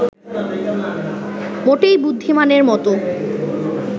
মোটেই বুদ্ধিমানের মতো